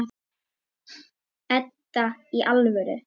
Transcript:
Edda, í alvöru.